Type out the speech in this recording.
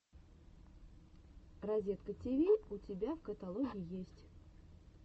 разеткативи у тебя в каталоге есть